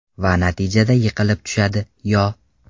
Va natijada yiqilib tushadi, Yo.